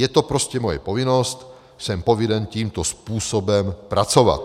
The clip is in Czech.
Je to prostě moje povinnost, jsem povinen tímto způsobem pracovat.